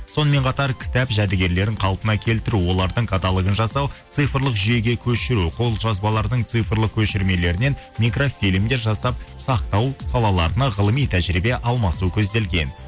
сонымен қатар кітап жәдігерлерін қалпына келтіру олардың каталогын жасау цифрлық жүйеге көшіру қолжазбалардың цифрлық көшірмелерінен микрофильмдер жасап сақтау салаларына ғылыми тәжірибе алмасу көзделген